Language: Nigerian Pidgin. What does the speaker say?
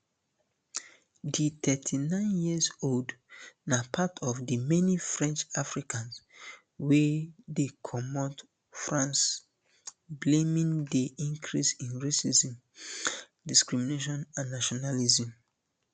di thirty-nine years old na part of di many french africans wey dey comot france blaming di increase in racism discrimination and nationalism